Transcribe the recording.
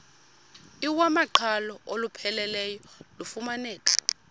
iwamaqhalo olupheleleyo lufumaneka